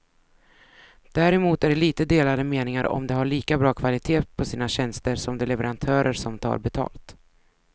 Däremot är det lite delade meningar om de har lika bra kvalitet på sina tjänster som de leverantörer som tar betalt.